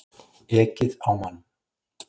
Ekið á mann